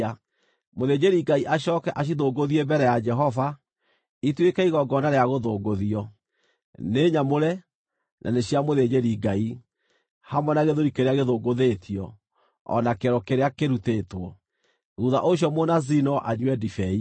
Mũthĩnjĩri-Ngai acooke acithũngũthie mbere ya Jehova, ituĩke igongona rĩa gũthũngũthio; nĩ nyamũre, na nĩ cia mũthĩnjĩri-Ngai, hamwe na gĩthũri kĩrĩa gĩthũngũthĩtio, o na kĩero kĩrĩa kĩrutĩtwo. Thuutha ũcio Mũnaziri no anyue ndibei.